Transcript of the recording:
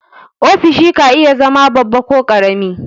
Ofishi ka iya zama babba ko ƙarami.